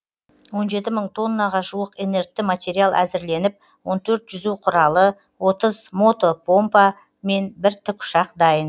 он жеті мың тоннаға жуық инертті материал әзірленіп он төрт жүзу құралы отыз мото помпа мен бір тікұшақ дайын